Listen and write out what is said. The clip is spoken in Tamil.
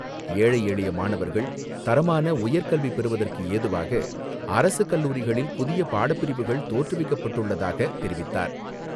ஏழை எளிய மாணவர்கள் தரமான உயர்கல்வி பெறுவதற்கு ஏதுவாக அரசுக் கல்லூரிகளில் புதிய பாடப்பிரிவுகள் தோற்றுவிக்கப்பட்டுள்ளதாக தெரிவித்தார்.